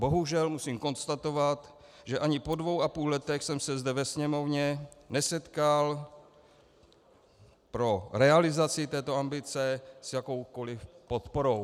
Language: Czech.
Bohužel musím konstatovat, že ani po dvou a půl letech jsem se zde ve Sněmovně nesetkal pro realizaci této ambice s jakoukoliv podporou.